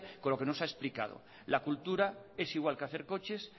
con lo que nos ha explicado la cultura es igual que hacer coches